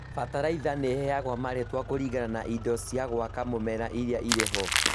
bataraitha nĩheagwo marĩtwa kũringana na indo cia gwaka mũmera iria irĩho